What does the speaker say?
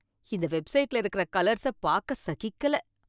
இந்த வெப்சைட்ல இருக்கற கலர்ஸ பாக்க சகிக்கல.